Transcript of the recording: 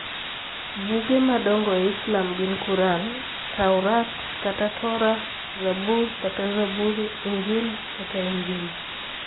Buge madongo e Islam gin Quran. Tawrat (Torah) Zabur (Zaburi) Injil (Injili)